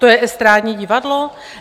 To je estrádní divadlo?